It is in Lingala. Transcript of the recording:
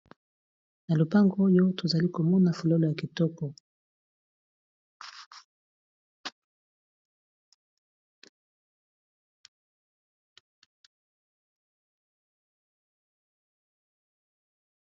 Na lopango oyo tozali komona fololo ya kitoko.